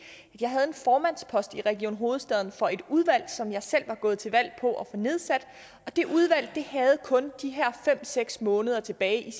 jeg havde en formandspost i region hovedstaden for et udvalg som jeg selv var gået til valg på at få nedsat det udvalg havde kun de her fem seks måneder tilbage af